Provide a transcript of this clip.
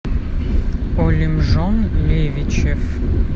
олимжон левичев